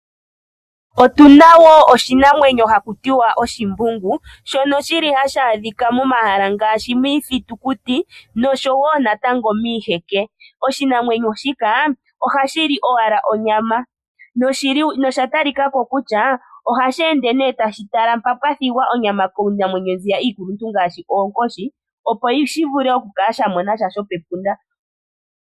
Otuna woo oshinamwenyo haku ti oshimbungu, ohali adhika momahala ngaashi miithitikuti oshowo miiheke, oshinamwenyo shika ohashi li owala onyama, nohashi ende tashi tala mpoka pwathigwa onyama kiinamwenyo iikwawo opo shi mone sha shomepunda.